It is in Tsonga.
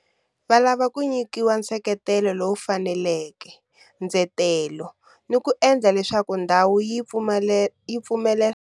Va lava ku nyikiwa nseketelo lowu faneleke, ndzetelo ni ku endla leswaku ndhawu yi pfumelela.